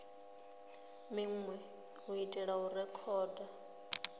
minwe u itela u rekhoda